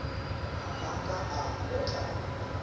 ha a ka a otlana